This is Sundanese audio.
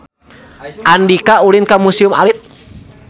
Andika ulin ka Museum Alit